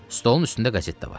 Stolun üstündə qəzet də var.